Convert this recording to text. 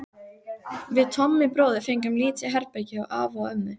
Við Tommi bróðir fengum lítið herbergi hjá afa og ömmu.